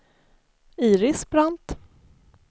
Iris Brandt